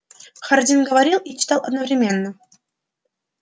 хардин говорил и читал одновременно